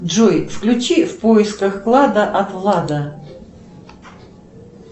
джой включи в поисках клада от влада